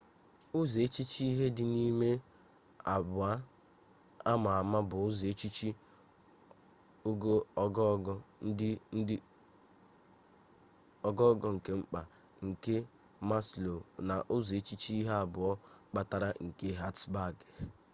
uzo-echiche ihe-di_n’ime abuo ama ama bu uzo-echiche ogogo nke mkpa nke maslow na uzo-echiche ihe abuo kpatara nke hertzberg